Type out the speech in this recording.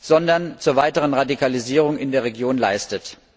sondern zur weiteren Radikalisierung in der Region leistet.